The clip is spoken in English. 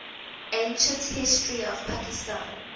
ancient history of pakistan